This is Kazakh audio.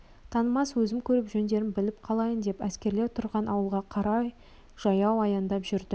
танымас өзім көріп жөндерін біліп қалайын деп әскерлер тұрған ауылға қарай жаяу аяңдап жүрдім